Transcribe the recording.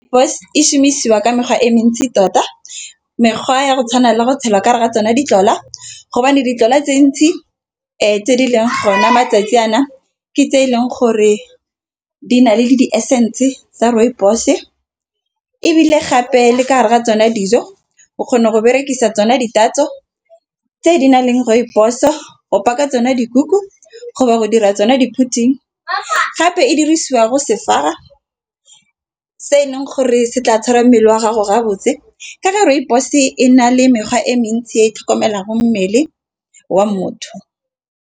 Rooibos e šhumišiwa ka mekgwa e mentsi tota. Mekgwa ya go tshwana le go tshela ka gara tsona di tlola. Ditlotla tse ntsi tse di leng gona matsatsi a na ke tse e leng gore di na le le di assistance tsa rooibos ebile gape le ka gara tsona dijo o kgona go berekisa tsona di tatso. Tse di na leng rooibos go baka tsona dikuku go ba go dira tsona di-pudding, gape e dirisiwa go sefara se e leng gore se tla tshwara mmele wa gago re a botse ka re rooibos e na le mekgwa e mentsi e tlhokomelang go mmele wa motho.